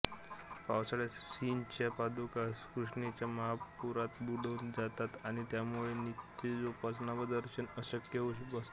पावसाळ्यांत श्रींच्या पादुका कृष्णेच्या महापुरांत बुडून जातात आणि त्यामुळें नित्योपासना व दर्शन अशक्य होऊन बसते